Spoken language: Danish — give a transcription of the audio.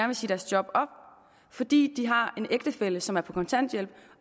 vil sige deres job op fordi de har en ægtefælle som er på kontanthjælp